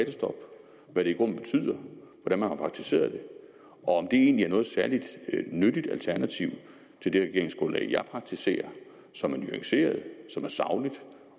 og i grunden betyder hvordan man har praktiseret det og om egentlig er noget særlig nyttigt alternativ til det regeringsgrundlag jeg praktiserer som er nuanceret og sagligt